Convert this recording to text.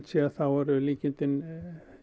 séð þá eru líkindin